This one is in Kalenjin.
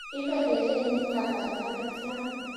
Ibe kerenyu kasarta netya